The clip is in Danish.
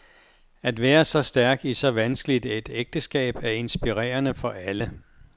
At være så stærk i så vanskeligt et ægteskab er inspirerende for alle.